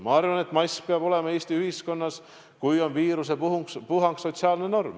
Ma arvan, et mask peab olema Eesti ühiskonnas, kui on viirusepuhang, sotsiaalne norm.